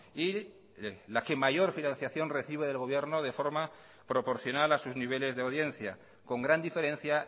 y la que mayor financiación recibe del gobierno de forma proporcional a sus niveles de audiencia con gran diferencia